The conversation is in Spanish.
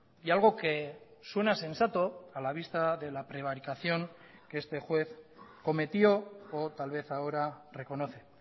y algo que suena sensato a la vista de la prevaricación que este juez cometió o tal vez ahora reconoce